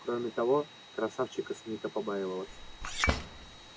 кроме того красавчика смита побаивалась